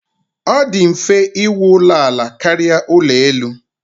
Ọ dị mfe íwú ụlọ ala karịa ụlọ elu.